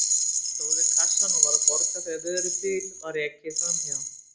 Ég stóð við kassann og var að borga þegar vörubíl var ekið framhjá.